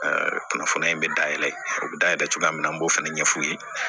kunnafoniya in bɛ dayɛlɛ o bɛ dayɛlɛ cogoya min na an b'o fana ɲɛ f'u ye